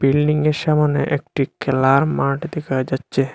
বিল্ডিংয়ের সামোনে একটি খেলার মাঠ দেখা যাচ্ছে।